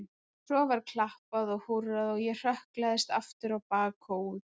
Svo var klappað og húrrað og ég hrökklaðist aftur á bak og út.